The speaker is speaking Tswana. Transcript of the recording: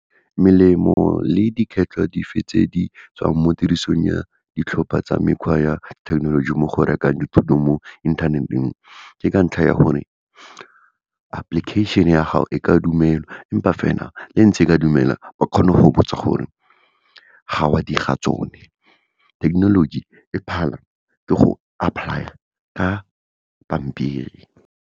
Melemo le dife tse di tswang mo tirisong ya ditlhopha tsa mekgwa ya thekenoloji mo go rekang dithuto mo inthaneteng, ke ka ntlha ya gore application-e ya gago e ka dumelwa, empa fela, lentse e ke dumelwa, ba kgona go botsa gore, ga oa dira tsone. Thekenoloji e phala ke go apply-a ka pampiri.